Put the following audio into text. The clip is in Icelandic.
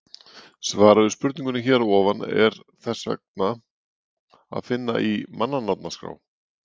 Svarið við spurningunni hér að ofan er þess vegna að finna í mannanafnaskrá.